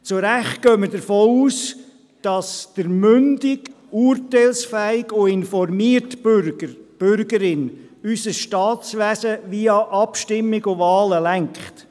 Zu Recht gehen wir davon aus, dass der mündige, urteilsfähige und informierte Bürger beziehungsweise die Bürgerin unser Staatswesen via Wahlen und Abstimmungen lenkt.